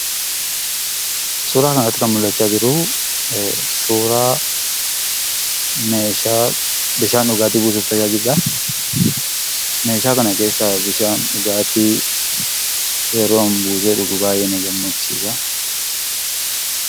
Suuraa kanarratti kan mul'achaa jiru suuraa meeshaa bishaan dhugaatii buusuuf tajaajiludha. Meeshaa kana keessaa bishaan dhugaatii yeroon buusee dhugu baay'ee na gammachiisa.